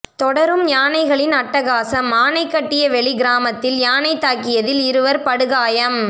தொடரும் யானைகளின் அட்டகாசம் ஆனைகட்டியவெளி கிராமத்தில் யானை தாக்கியதில் இருவர் படுகாயம்